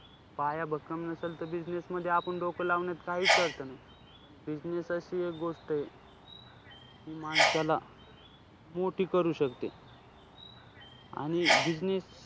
पाय भक्कम नसेल त business मध्ये आपण डोकं लावण्यात काहीच अर्थ नाही. पण business अशी एक गोष्ट आहे जी माणसाला मोठी करू शकते आणि business,